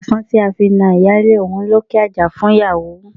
Pàṣán tí a fi na ìyálé ó ń lókè àjà fún ìyàwó.